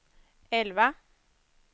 elva